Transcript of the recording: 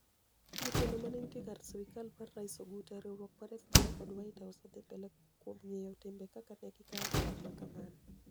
jotelo mani eniitie kar sirikal mar rais Oguta, eriwruok mar FBI kod white house odhimbele kuom nigiyo timbe kaka ni egikaookanig ma kamano.